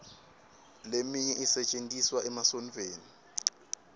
leminye isetjentiswa emasontfweni